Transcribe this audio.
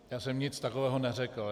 Já jsem nic takového neřekl.